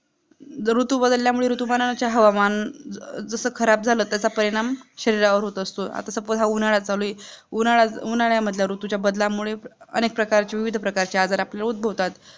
जर ऋतु बदल्या मुळे ऋतुमानाचे हवामान जसा खराब झालं तस तस परिणाम शरीरावर होत असतो आता suppose हा उन्हाळा चालूये उन्हाळा मधल्या ऋतू च्या बदलामुळे अनेक प्रकारचे विविध प्रकारचे आजार आपल्याला उद्घभवतात